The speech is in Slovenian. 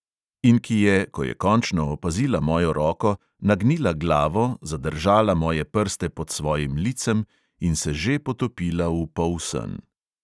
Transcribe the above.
In ki je, ko je končno opazila mojo roko, nagnila glavo, zadržala moje prste pod svojim licem in se že potopila v polsen.